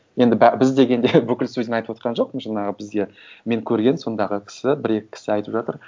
енді біз дегенде бүкіл судьяны айтып отырған жоқпын жаңағы бізде мен көрген сондағы кісі бір екі кісі айтып жатыр